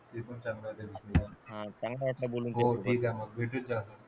ते पण चांगला आहे